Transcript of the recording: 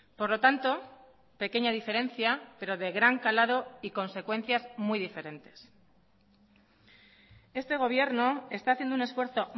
por lo tanto pequeña diferencia pero de gran calado y consecuencias muy diferentes este gobierno está haciendo un esfuerzo